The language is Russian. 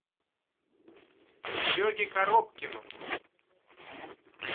сереге коробкину